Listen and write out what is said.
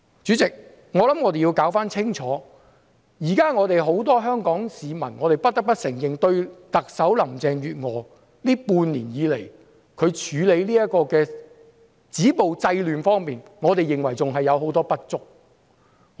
主席，我們要弄清楚，現時很多香港市民......我們不得不承認，特首林鄭月娥半年來處理止暴制亂的工作，還有很多不足之處。